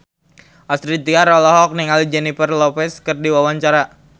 Astrid Tiar olohok ningali Jennifer Lopez keur diwawancara